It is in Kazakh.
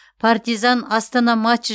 партизан астана матчы